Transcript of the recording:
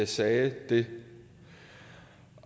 sagde det